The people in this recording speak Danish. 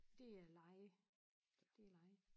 Det er leje det er leje